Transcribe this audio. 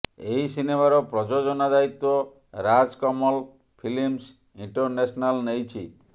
ଏହି ସିନେମାର ପ୍ରଯୋଜନା ଦାୟିତ୍ୱ ରାଜ କମଲ୍ ଫିଲ୍ସ ଇଣ୍ଟରନ୍ୟାସନାଲ ନେଇଛି